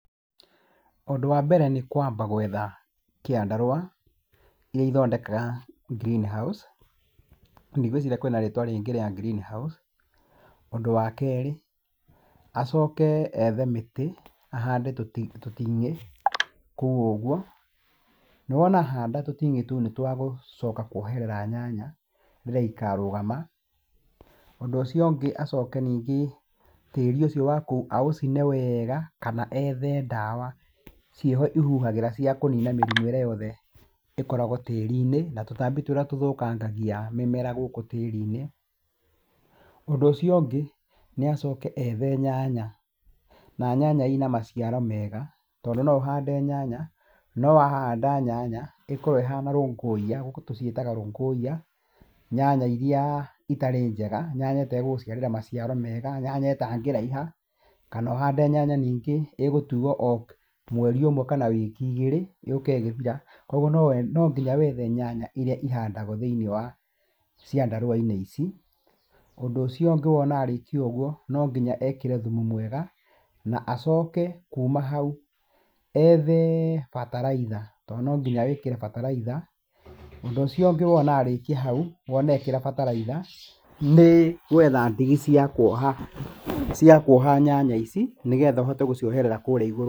Ũndũ wa mbere nĩ kwamba gwetha kĩandarũa, iria ithondekaga greenhouse, ndigwiciria kwĩna rĩtwa rĩngĩ rĩa greenhouse. Ũndũ wa kerĩ, acoke ethe mĩtĩ ahande tũting'ĩ kũu ũguo. Na wona ahanda tũting'ĩ tũu nĩ twagũcoka kuoherera nyanya rĩrĩa ikarũgama. Ũndũ ũcio ũngĩ acoke nĩngĩ, tĩri ũcio wa kũu aũcine wega kana ethe dawa ciĩho ihuhagĩra cia kũnina mĩrimũ ĩrĩa yothe ĩkoragwo tĩri-inĩ na tũtambi tũrĩa tũthũkangagia mĩmera gũkũ tĩri-inĩ. Ũndũ ũcio ũngĩ nĩacoke ethe nyanya, na nyanya ina maciaro mega. Tondũ no ũhande nyanya, no wahanda nyanya ĩkorwo ĩhana rũngũiya, gũkũ tũciĩtaga rũngũiya, nyanya irĩa itarĩ njega, nanya itegũgũciarĩra maciaro mega, nyanya ĩtangĩraiha, kana ũhande nyanya ningĩ igũtuo mweri ũmwe kana wiki igĩrĩ, yũke ĩgĩthira. Koguo no nginya wethe nyanya iria ihandagwo thĩinĩ wa ciandarũa-inĩ ici. Ũndũ ũcio ũngĩ wona arĩkia ũgũo no nginya ekĩre thumu mwega, na acoke kuma hau ethe bataraitha, tondũ no nginya wĩkĩre bataraitha. Ũndũ ũcio ũngĩ wona arĩkia hau wona ekĩra bataraitha, nĩ gwetha ndigi cia kuoha, cia kuoha nyanya ici, nĩgetha ũhote gũcioherera kũrĩa igũrũ.